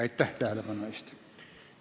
Aitäh tähelepanu eest!